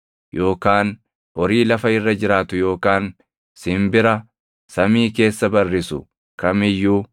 yookaan horii lafa irra jiraatu yookaan simbira samii keessa barrisu kam iyyuu